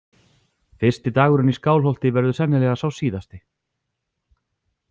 Fyrsti dagurinn í Skálholti verður sennilega sá síðasti.